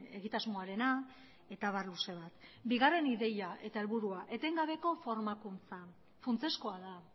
egitasmoarena eta abar luze bat bigarren ideia eta helburua etengabeko formakuntza funtsezkoa da